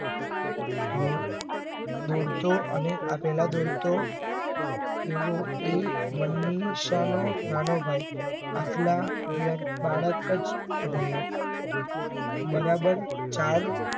દોડતો અને આ પેલા દોડતો એવો એ મનીષા નો નાનો ભાઈ રહ્યો બરાબર ચાલ